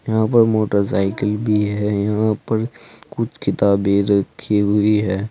यहां पर मोटरसाइकिल भी है यहां पर कुछ किताबें रखी हुई है।